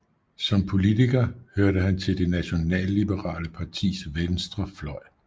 Som politiker hørte han til det nationalliberale partis venstre fløj